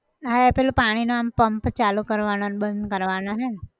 હા એ પેલો પાણી નો આમ pump ચાલુ કરવાનો ન બંધ કરવાનો હે ન!